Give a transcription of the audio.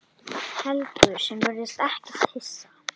Helgu sem virðist ekkert hissa.